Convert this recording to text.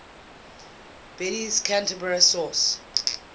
bede's canterbury source